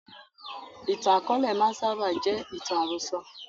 Ìtàn akọ̀ọ̀lẹ máa ń sábà jẹ́ ìtàn àròsọ̀